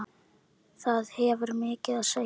Það hefur mikið að segja.